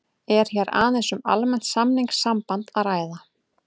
Er hér aðeins um almennt samningssamband að ræða.